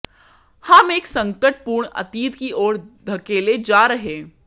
हम एक संकटपूर्ण अतीत की ओर धकेले जा रहे